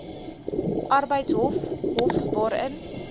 arbeidshof hof waarin